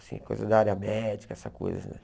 Assim, coisa da área médica, essa coisa, né?